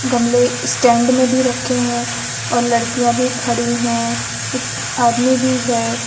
गमले स्टैंड में भी रखे हैं और लड़कियां भी खड़ी हैं एक आदमी भी है।